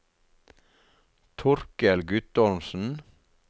Torkel Guttormsen